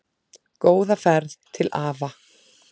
Góða ferð til afa.